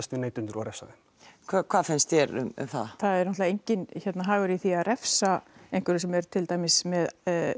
við neytendur og refsa þeim hvað finnst þér um það það er náttúrulega enginn hagur í því að refsa einhverjum sem er til dæmis með